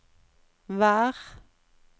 vær